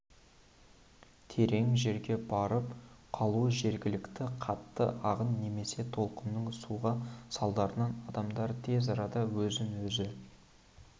терең жерге барып қалу жеткілікті қатты ағын немесе толқынның соғуы салдарынан адамдар тез арада өзін-өзі